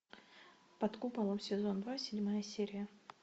под куполом сезон два седьмая серия